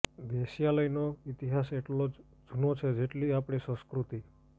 વેશ્યાલયનો ઈતિહાસ એટલો જ જૂનો છે જેટલી આપણી સંસ્કૃતિ